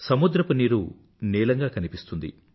సముద్రపు నీరు నీలంగా కనిపిస్తుంది